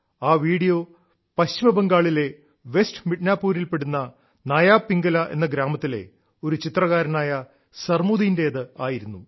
ആ വീഡിയോ പശ്ചിമബംഗാളിലെ വെസ്റ്റ് മിഡ്നാപൂരിൽപ്പെടുന്ന നയാ പിംഗല എന്ന ഗ്രാമത്തിലെ ഒരു ചിത്രകാരനായ സർമുദീന്റേത് ആയിരുന്നു